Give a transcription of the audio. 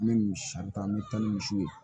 N bɛ misi san n bɛ taa ni misiw ye